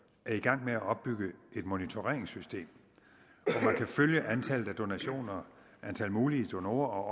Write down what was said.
er i gang med at opbygge et monitoreringssystem så man kan følge antallet af donationer antal mulige donorer og